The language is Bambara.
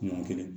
Ɲɔ kelen